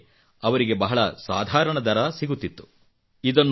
ಇದಕ್ಕೆ ಅವರಿಗೆ ಬಹಳ ಸಾಧಾರಣ ದರ ಸಿಗುತ್ತಿತ್ತು